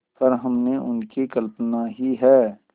पर हमने उनकी कल्पना ही है